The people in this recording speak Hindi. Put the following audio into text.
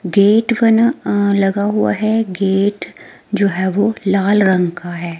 गेट बना अह लगा हुआ है गेट जो है वो लाल रंग का है।